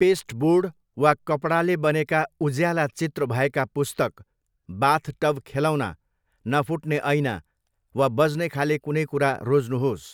Pasteboard वा कपडाले बनेका उज्याला चित्र भएका पुस्तक, बाथटब खेलौना, नफुट्ने ऐना, वा बज्नेखाले कुनै कुरा रोज्नुहोस्।